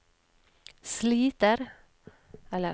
sliter